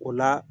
O la